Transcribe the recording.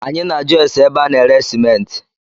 Anyị na ajụ ase ébé a na-ere simenti